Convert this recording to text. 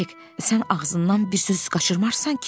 Hek, sən ağzından bir söz qaçırmarsan ki?